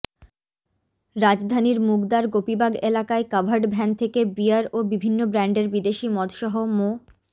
রাজধানীর মুগদার গোপীবাগ এলাকায় কাভার্ড ভ্যান থেকে বিয়ার ও বিভিন্ন ব্র্যান্ডের বিদেশি মদসহ মো